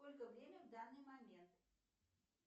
сколько время в данный момент